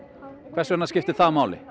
hvers vegna skiptir það máli